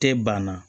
Tɛ banna